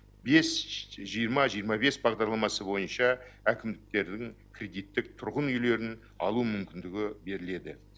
бес жиырма жиырма бес бағдарламасы бойынша әкімдіктердің кредиттік тұрғын үйлерін алу мүмкіндігі беріледі